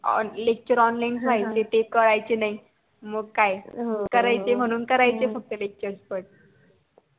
lectureonline होयचे ते कळायचे नाही मग काय करायचे म्हणून म्हणून करायचे lecture पण